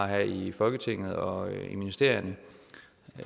her i folketinget og i ministerierne